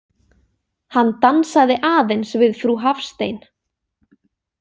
Hann dansaði aðeins við frú Hafstein.